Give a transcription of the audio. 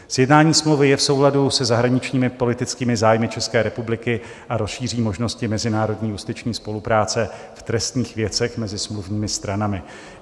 Sjednání smlouvy je v souladu se zahraničními politickými zájmy České republiky a rozšíří možnosti mezinárodní justiční spolupráce v trestních věcech mezi smluvními stranami.